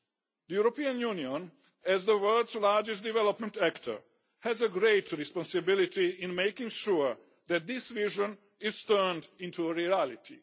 The European Union, as the world's largest development actor, has a great responsibility in making sure that this vision is turned into reality.